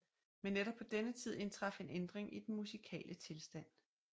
Men netop på denne tid indtraf en ændring i den musikale tilstand